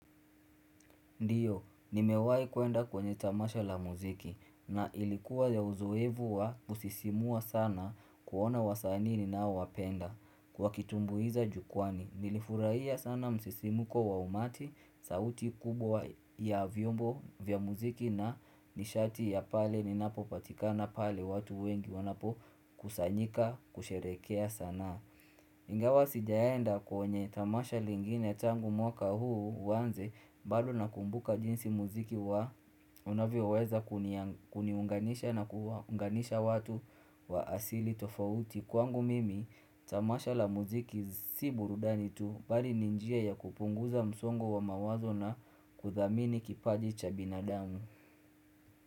Ndiyo, nimewahi kuenda kwenye tamasha la muziki na ilikuwa ya uzoefu wa kusisimua sana kuona wasanii ninaiwapenda. Wakitumbuiza jukwani, nilifurahia sana msisimuko wa umati, sauti kubwa ya vyombo vya muziki na nishati ya pale ninapopatika na pale watu wengi wanapokusanyika kusherehekea sana. Ingawa sijaenda kwenye tamasha lingine tangu mwaka huu uanze bado na kumbuka jinsi muziki wa unavyoweza kuniunganisha na kuwaunganisha watu wa asili tofauti kwangu mimi tamasha la muziki si burudani tu bali ni njia ya kupunguza msongo wa mawazo na kudhamini kipaji cha binadamu.